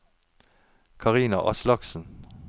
Karina Aslaksen